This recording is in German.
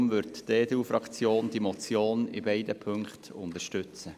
Deshalb unterstützt die EDU-Fraktion die Motion in beiden Punkten.